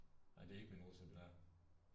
Nej det er ikke mine russer det der